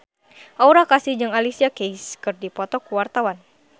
Aura Kasih jeung Alicia Keys keur dipoto ku wartawan